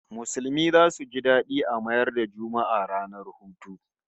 Musulmi zasu ji dadi a mayar da Juma'a ranar hutu